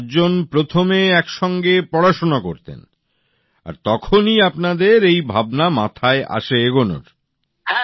আর চারজন প্রথমে একসঙ্গে পড়াশোনা করতেন আর তখনই আপনাদের এই ভাবনা মাথায় আসে আগে এগোনোর